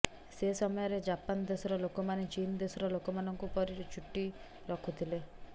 ସେ ସମୟରେ ଜାପାନ ଦେଶର ଲୋକମାନେ ଚୀନ ଦେଶର ଲୋକମାନଙ୍କ ପରି ଚୁଟି ରଖୁଥିଲେ